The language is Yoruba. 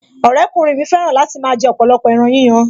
Ọ̀rẹ́kùnrin mi fẹ́ràn láti máa jẹ ọ̀pọ̀lọpọ̀ ẹran yíyan